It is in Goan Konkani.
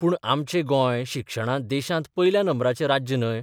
पूण आमचें गोंय शिक्षणांत देशांत पयल्या नंबराचें राज्य न्हय?